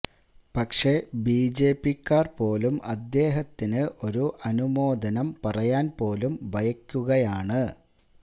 പക്ഷേ ബിജെപിക്കാർ പോലും അദ്ദേഹത്തിന് ഒരു അനുമോദനം പറയാൻ പോലും ഭയക്കുകയാണ്